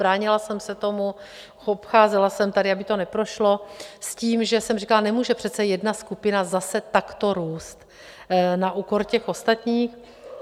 Bránila jsem se tomu, obcházela jsem tady, aby to neprošlo, s tím že jsem říkala: nemůže přece jedna skupina zase takto růst na úkor těch ostatních.